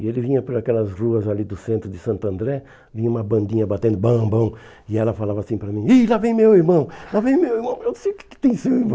E ele vinha por aquelas ruas ali do centro de Santo André, vinha uma bandinha batendo bam bam, e ela falava assim para mim, Ih, lá vem meu irmão, lá vem meu irmão, eu sei que que tem seu irmão.